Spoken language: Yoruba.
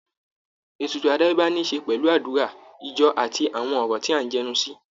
Ètùtù àdáyébá ní i ṣe pẹ̀lú àdúrà, ijó, àti àwọn ọ̀rọ̀ tí à ń jẹnu sí